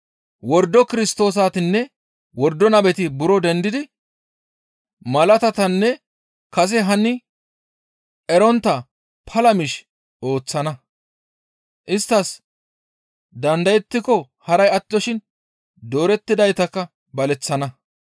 Wordo Kirstoosatinne wordo nabeti buro dendidi malaatatanne kase hani erontta pala miish ooththana; isttas dandayettiko haray attoshin doorettidaytakka baleththana.